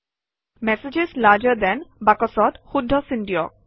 messages larger than বাকচত শুদ্ধ চিন দিয়ক